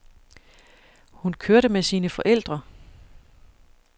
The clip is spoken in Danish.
Hun kørte med sine forældre.